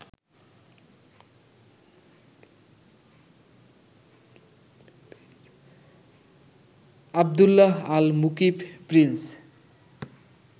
Abdullah Al Mukib Prince